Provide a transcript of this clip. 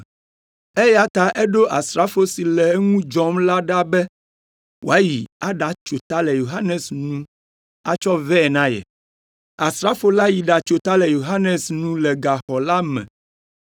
eya ta eɖo asrafo si le eŋu dzɔm la ɖa be wòayi aɖatso ta le Yohanes nu atsɔ vɛ na ye. Asrafo la yi ɖatso ta le Yohanes nu le gaxɔ la me